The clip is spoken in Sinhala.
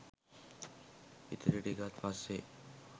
ඉතිරි ටිකත් පස්සේ